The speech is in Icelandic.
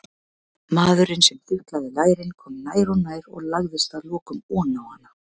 Maðurinn sem þuklaði lærin kom nær og nær og lagðist að lokum oná hana.